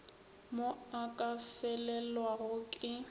mo a ka felelwago ke